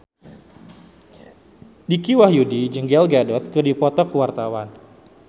Dicky Wahyudi jeung Gal Gadot keur dipoto ku wartawan